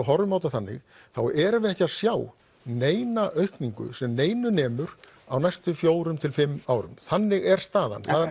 horfum á þetta þannig þá erum við ekki að sjá neina aukningu sem neinu nemur á næstu fjórum til fimm árum þannig er staðan